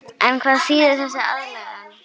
En hvað þýðir þessi aðlögun?